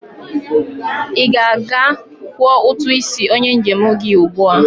I ga-aga kwọ utu isi onye njem gi ugbua!